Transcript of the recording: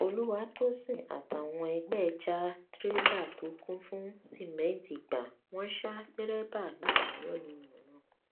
olùwàtòsìn àtàwọn ẹgbẹ ẹ já tirẹlà tó kún fún sìmẹǹtì gbà wọn sá dẹrẹbà ládàá yánnayànna